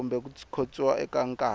kumbe ku khotsiwa eka nkarhi